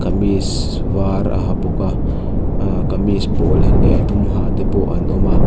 kamis var a ha bawk a ahh kamis pawl leh a dum ha te pawh an awm a.